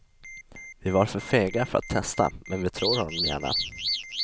Vi var för fega för att testa, men vi tror honom gärna.